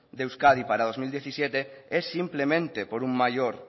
de euskadi para dos mil diecisiete es simplemente por un mayor